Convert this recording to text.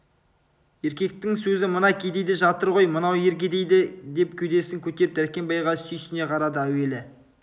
еркектің сөзі мына кедейде жатыр ғой мынау ер кедейде деп кеудесін көтеріп дәркембайға сүйсіне қарады әуелі